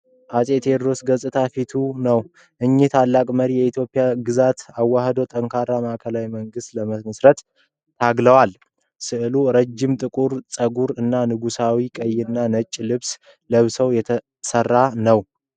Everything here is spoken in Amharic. የዓፄ ቴዎድሮስን ገጽታ ፎቶ ነው ። እኚህ ታላቅ መሪ የኢትዮጵያን ግዛቶች አዋሕደው፣ ጠንካራ ማዕከላዊ መንግሥት ለመመሥረት ታግለዋል። ሥዕሉ ረዥም ጥቁር ፀጉር እና የንጉሣዊ ቀይና ነጭ ልብስ ለብሰው የተሰራ ነው ።